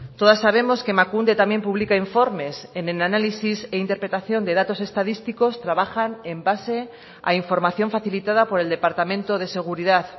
todas sabemos que emakunde también publica informes en el análisis e interpretación de datos estadísticos trabajan en base a información facilitada por el departamento de seguridad